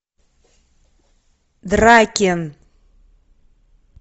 дракин